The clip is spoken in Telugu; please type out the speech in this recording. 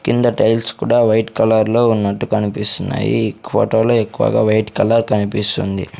కింద టైల్స్ కూడా వైట్ కలర్లో ఉన్నట్టు కనిపిస్తున్నాయి ఇక్ ఫోటోలో ఎక్కువగా వైట్ కలర్ కనిపిస్తుంది.